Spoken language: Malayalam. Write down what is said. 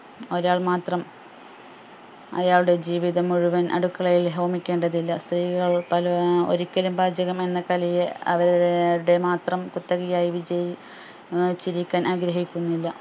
ഒരാൾ മാത്രം അയാളുടെ ജീവിതം മുഴുവൻ അടുക്കളയിൽ ഹോമിക്കേണ്ടതില്ല സ്ത്രീകൾ പല അഹ് ഒരിക്കലും പാചകമെന്ന കലയെ അവരുടെ മാത്രം കുത്തകയായി വിജയി ഏർ ചിരിക്കാൻ ആഗ്രഹിക്കുന്നില്ല